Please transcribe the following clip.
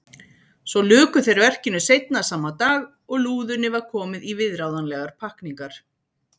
Svo luku þeir verkinu seinna sama dag og lúðunni var komið í viðráðanlegar pakkningar.